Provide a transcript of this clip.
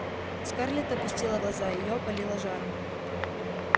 скарлетт опустила глаза её опалило жаром